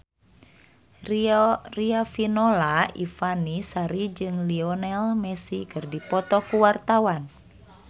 Riafinola Ifani Sari jeung Lionel Messi keur dipoto ku wartawan